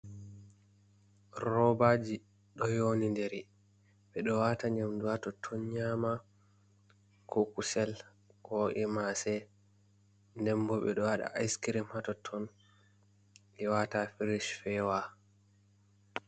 Roɓaji ɗo nyoniɗiri, ɓe ɗo wata nyamɗu ha totton nyama, ko kusel, ko mase. Nɗen bo ɓeɗo waɗa askirim ha totton, ɓe wata ha firish fewa.